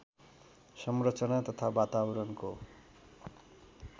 संरचना तथा वातावरणको